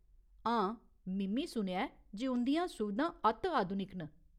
हां, मि'म्मीं सुनेआ ऐ जे उंʼदियां सुविधां अत्त आधुनिक न।